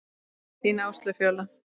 Þín Áslaug Fjóla.